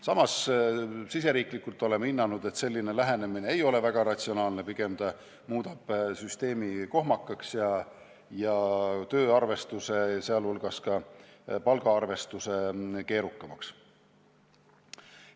Samas oleme riigisiseselt hinnanud, et selline lähenemine ei ole väga ratsionaalne, pigem muudab see süsteemi kohmakaks ja tööarvestuse, sh palgaarvestuse keerukamaks.